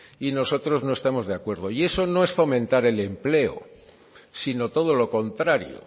y nosotros no estamos de acuerdo y eso no es fomentar el empleo sino todo lo contrario